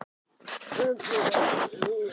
Hvernig hafa Brasilíumennirnir verið?